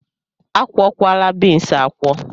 A kwuokwala beans akwọ?